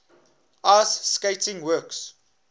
ice skating works